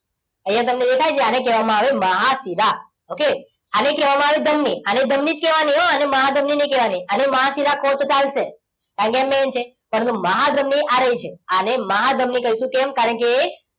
અહીંયા તમને દેખાય છે અને કહેવામાં આવે મહાશિરા. okay આને કહેવામાં આવે ધમની. અને ધમની જ કહેવાની હો આને મહાધમની નહીં કહેવાની. આને મહાશિરા કહો તો ચાલશે. આવ્યા main છે. અને મહાધમની આવી છે. આને મહાધમની કહીશું કેમ કારણકે એ,